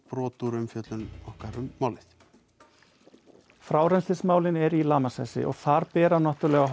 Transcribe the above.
brot úr umfjöllun um málið frárennslismálin eru í lamasessi þar bera náttúrulega